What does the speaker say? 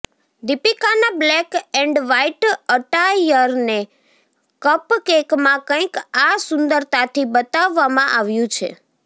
દિપીકાના black and white અટાયરને કપકેકમાં કંઇક આ સુંદરતાથી બતાવવામાં આવ્યું છે